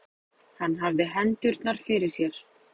Hann hafði hendurnar fyrir sér.